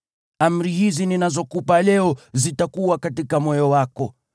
Amri hizi ninazokupa leo zitakuwa katika moyo wako.